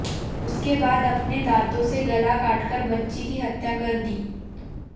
उसके बाद अपने दांतों से गला काटकर बच्ची की हत्या कर दी